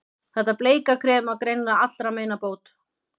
Þetta bleika krem var greinilega allra meina bót.